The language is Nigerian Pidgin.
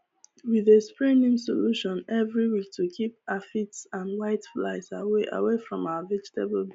we dey spray neem solution every week to keep aphids and whiteflies away away from our vegetable